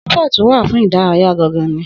Sípọ̀tù wà fún ìdárayá gan gan ni